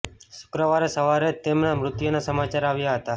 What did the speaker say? શુક્રવારે સવારે જ તેમના મૃત્યુના સમાચાર આવ્યા હતા